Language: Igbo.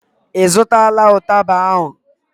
ị zụtala ụtaba ahụ?